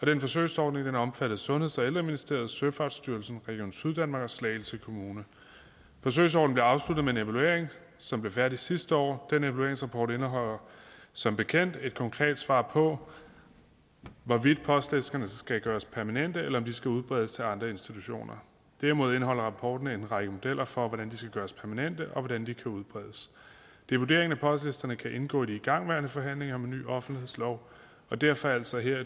den forsøgsordning omfattede sundheds og ældreministeriet søfartsstyrelsen region syddanmark og slagelse kommune forsøgsordningen blev afsluttet med en evaluering som blev færdig sidste år den evalueringsrapport indeholder som bekendt ikke et konkret svar på hvorvidt postlisterne skal gøres permanente eller om de skal udbredes til andre institutioner derimod indeholder rapporten en række modeller for hvordan de skal gøres permanente og hvordan de kan udbredes det er vurderingen at postlisterne kan indgå i de igangværende forhandlinger om en ny offentlighedslov og derfor altså her